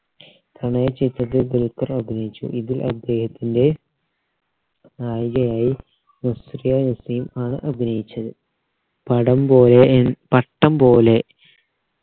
പ്രണയ ചിത്രത്തിൽ ദുൽഖർ അഭിനയിച്ചു ഇതിൽ അദ്ദേഹത്തിൻറെ നായികയായി നസ്രിയ നസീം ആണ് അഭിനയിച്ചത് പടം പോലെ ഏർ പട്ടം പോലെ